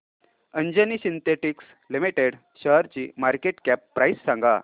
Anjani synthetics limited शेअरची market cap price सांगा